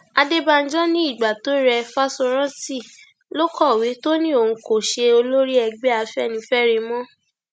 adébànjọ ní ìgbà tó re fáṣórántì ló kọwé tó ní òun kò ṣe olórí ẹgbẹ afẹnifẹre mọ